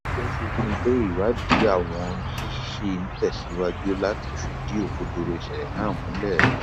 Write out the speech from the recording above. ó fi kún un pé ìwádìí àwọn ṣì ń tẹsíwájú láti fìdí òkodoro ìṣẹlẹ náà múlẹ